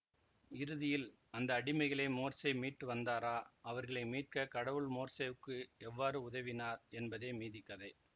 இறுதியில் அந்த அடிமைகளை மோர்சே மீட்டு வந்தாரா அவர்களை மீட்க கடவுள் மோர்சேவுக்கு எவ்வாறு உதவினார் என்பதே மீதி கதை